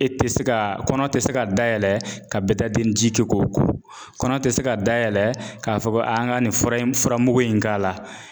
E tɛ se ka kɔnɔ tɛ se ka dayɛlɛ ka bɛ ji kɛ k'o ko kɔnɔ tɛ se ka dayɛlɛ k'a fɔ ko a an ka nin fura in furamugu in k'a la.